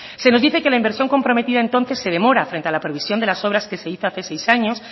se nos dice que la inversión comprometida entonces se demora frente a la previsión de las obras que se hizo hace seis años